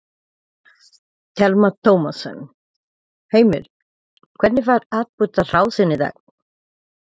Telma Tómasson: Heimir, hvernig var atburðarrásin í dag?